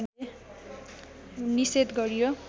निषेध गरियो